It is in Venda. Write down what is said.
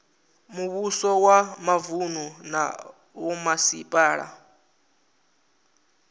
muvhuso wa mavunu na vhomasipala